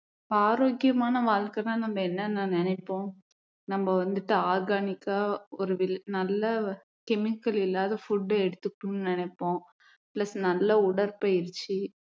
ஆரோக்கியமான வாழ்க்கைன்னா நம்ம என்னென்ன நினைப்போம் நம்ம வந்துட்டு organic ஆ ஒரு வி~ நல்ல chemical இல்லாத food எடுத்துக்கணும்னு நினைப்போம் plus நல்ல உடற்பயிற்சி